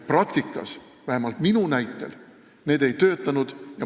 Praktikas, vähemalt minu kogemuste põhjal, need asjad ei töötanud.